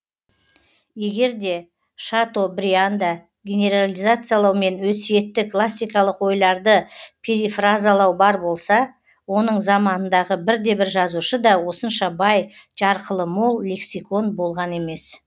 егер де шатобрианда генерализациялау мен өсиетті классикалық ойларды перифразалау бар болса оның заманындағы бірде бір жазушы да осынша бай жарқылы мол лексикон болған емес